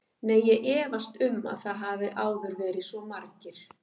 Nei, ég efast um að það hafi áður verið svo margir.